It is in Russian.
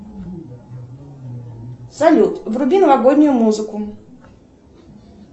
салют вруби новогоднюю музыку